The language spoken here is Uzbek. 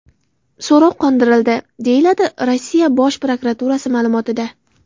So‘rov qondirildi”, – deyiladi Rossiya Bosh prokuraturasi ma’lumotida.